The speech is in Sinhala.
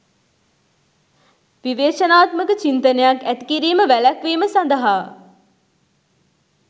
විවේචනාත්මක චින්තනයක් ඇති කිරීම වැළැක්වීම සඳහා